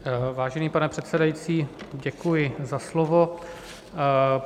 Vážený pane předsedající, děkuji za slovo.